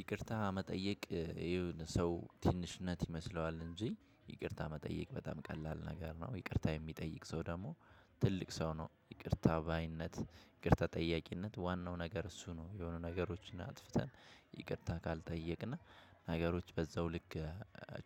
ይቅርታ መጠየቅ የሆነ ሰው ትንሽነት ይመስለዋል እንጂ ይቅርታ መጠየቅ በጣም ቀላል ነገር ነው። ይቅርታ የሚጠይቅ ሰው ደግሞ ትልቅ ሰው ነው። ይቅርታ ባይነት ይቅርታ ጠያቂነት ዋናው ነገር እሱ ነው። የሆኑ ነገሮችን አጥፍተህ ይቅርታ ካልጠየቅና ነገሮች በዛው ልክ